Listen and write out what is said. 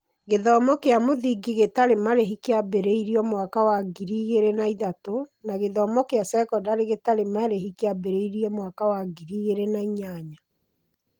Gĩthomo kĩa mũthingi gĩtarĩ marĩhi kĩambĩrĩirio mwaka wa ngiri igĩrĩ na ithatũ, na gĩthomo kĩa sekondarĩ gĩtarĩ marĩhi kĩambĩrĩirio mwaka wa ngiri igĩrĩ na inyanya